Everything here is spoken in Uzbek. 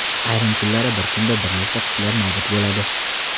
Ayrim kunlari bir kunda bir nechta qushlar nobud bo‘ladi.